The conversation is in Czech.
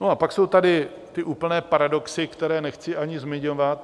No a pak jsou tady ty úplně paradoxy, které nechci ani zmiňovat.